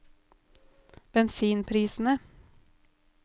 bensinprisene